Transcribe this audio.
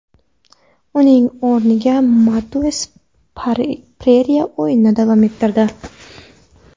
Uning o‘rniga Mateus Pereyra o‘yinni davom ettirdi.